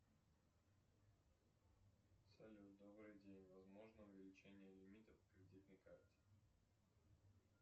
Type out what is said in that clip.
салют добрый день возможно увеличение лимита по кредитной карте